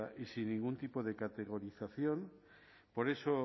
y sin ningún tipo de categorización por eso